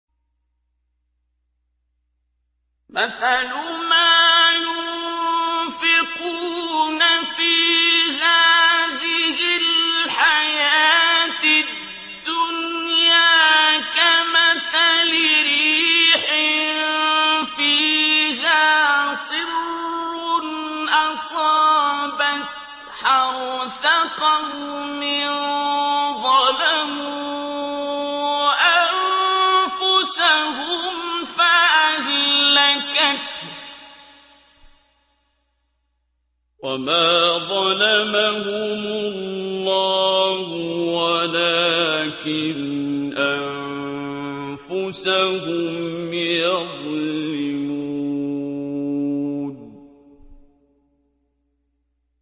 مَثَلُ مَا يُنفِقُونَ فِي هَٰذِهِ الْحَيَاةِ الدُّنْيَا كَمَثَلِ رِيحٍ فِيهَا صِرٌّ أَصَابَتْ حَرْثَ قَوْمٍ ظَلَمُوا أَنفُسَهُمْ فَأَهْلَكَتْهُ ۚ وَمَا ظَلَمَهُمُ اللَّهُ وَلَٰكِنْ أَنفُسَهُمْ يَظْلِمُونَ